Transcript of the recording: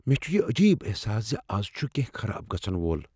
مےٚ چھ یہ عجیب احساس ز از چھ کینٛہہ خراب گژھن وول۔